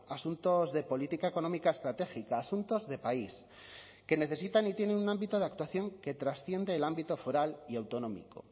asuntos de política económica estratégica asuntos de país que necesitan y tienen un ámbito de actuación que trasciende el ámbito foral y autonómico